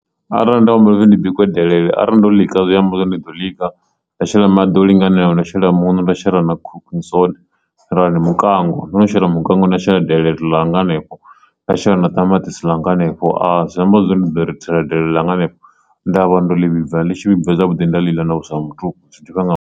Arali nda humbela uri ndi bike delele arali ndo ḽi ka zwi amba zwori ndi ḓo swika nda shela maḓi o linganelaho, ndo shela muṋo, nda shela na cooking soda rali mukango ndo no shela mukango na shela delele ḽanga hanefho nda shela na tamatisi ḽanga hanefho a zwi amba zwori ndi ḓo ri thela delele ḽa nga hanefho nda vhona uri ḽo vhibva ḽi tshi vhibva zwavhuḓi nda lila na vhuswa ha mutuku zwi ḓifha nga mannḓa.